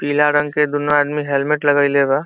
पीला रंग के दुनो आदमी हेलमेट लगईले बा।